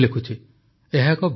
ଏହା ଏକ ଭଲ ଆରମ୍ଭ